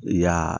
Y'aa